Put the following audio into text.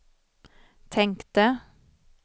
tänkte